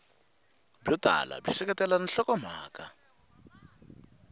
byo tala byi seketela nhlokomhaka